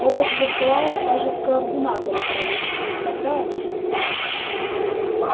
этот виртуал даже в координаторы пролез представляешь